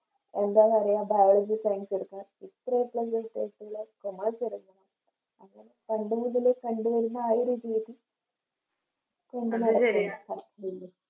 എന്താ പറയാ Biology science എടുക്ക ഇത്ര A plus കിട്ടിയാൽ Commerce എടുക്കണം പണ്ട് മുതലേ കണ്ടു വരുന്ന ആ ഒരു രീതി